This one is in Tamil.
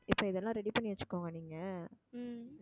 இப்ப இதெல்லாம் ready பண்ணி வச்சுக்கோங்க நீங்க